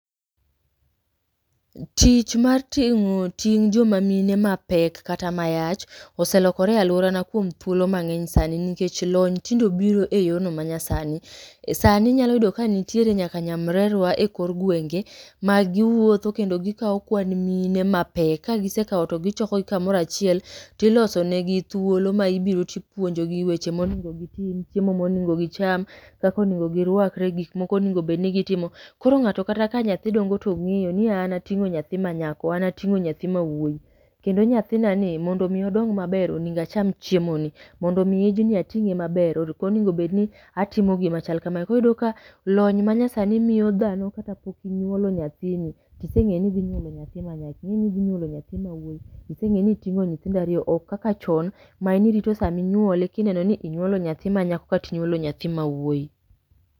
Tich mar tingo' ting' jomamine mapek kata mayach oselokore ese lokore e aluorana kuom thuolo mang; eny sani nikech lony tinde obiro e yono ma nyasani .Sani inyalo yudo ka nitiere nyaka nyamrerwa e kor gweng'e ma giwuotho kendo gikao kwan mina mapek kagisekao to gichoko gi kamorachiel tiloso ne gi dhulo ma ibiro tipuonjo gi weche monego gitim chiemo monego gicham , kaka onego girwakre ,gikmigonego bed ni gitimo ,koro ng'ato kata ka nyadhi dong'o to ng'eyo ni an ating'o koro ng'ato ka nyathi dong'o to ongeyo ni an ating'o nyathi ma nyako an ating'o nyathi ma wuoy kendo nyathinani mondomi odong' maber onego acham chiemo ni, mondo mi ijni atinge maber ok onego bed ni atimo gima chal kamae koro iyudo ka lony ma nyasani miyo dhano kata pok inyuolo nyathini tisengeyo ni inyuolo nyathi ma nyako ingeni idhi nyuolo nyathi ma wuoyi isengeni itingi nyithindo ariyo ok kaka chon ma nirito sana ma inyuol ekineno ni inyuolo nyathi ma nyako kata intuolo nyathi ma wuoyi.